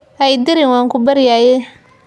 Ha i dirin, waan ku baryayaaye.